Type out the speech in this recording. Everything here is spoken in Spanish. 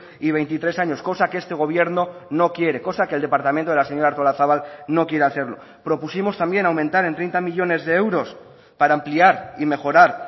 y veintitrés años cosa que este gobierno no quiere cosa que el departamento de la señora artolazabal no quiere hacerlo propusimos también aumentar en treinta millónes de euros para ampliar y mejorar